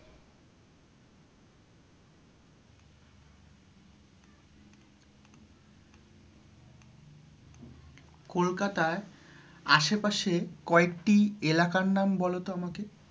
কলকাতায় আশেপাশে, কয়েকটি এলাকার নাম বলো তো আমাকে,